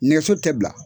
Nɛgɛso tɛ bila